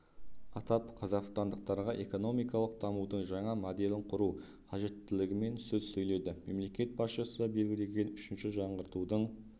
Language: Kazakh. атап қазақстандықтарға экономикалық дамудың жаңа моделін құру қажеттілігімен сөз сөйледі мемлекет басшысы белгілеген үшінші жаңғыртудың